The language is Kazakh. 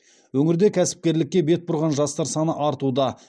өңірде кәсіпкерлікке бет бұрған жастар саны артуда